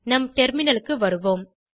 நம் டெர்மினலுக்கு வருவோம்